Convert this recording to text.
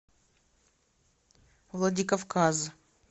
владикавказ